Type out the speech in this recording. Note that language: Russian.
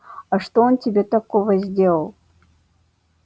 а что он тебе такого сделал